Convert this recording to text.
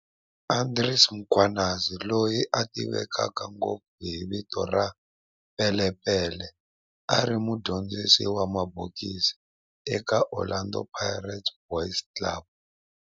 Andries Mkhwanazi, loyi a tiveka ngopfu hi vito ra"Pele Pele", a ri mudyondzisi wa mabokisi eka Orlando Boys Club